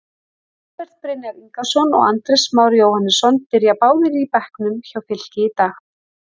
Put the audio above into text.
Albert Brynjar Ingason og Andrés Már Jóhannesson byrja báðir á bekknum hjá Fylki í dag.